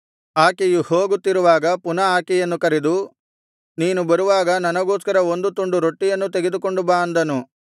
ಆಕೆಯು ಹೋಗುತ್ತಿರುವಾಗ ಪುನಃ ಆಕೆಯನ್ನು ಕರೆದು ನೀನು ಬರುವಾಗ ನನಗೋಸ್ಕರ ಒಂದು ತುಂಡು ರೊಟ್ಟಿಯನ್ನೂ ತೆಗೆದುಕೊಂಡು ಬಾ ಅಂದನು